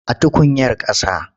A tukuyar ƙasa.